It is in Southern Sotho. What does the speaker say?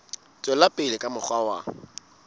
tswela pele ka mokgwa wa